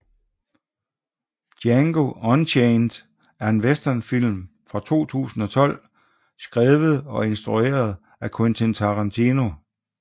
Django Unchained er en westernfilm fra 2012 skrevet og instrueret af Quentin Tarantino